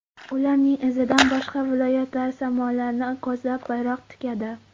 Ularning izidan boshqa viloyatlar samolarni ko‘zlab bayroq tikadi.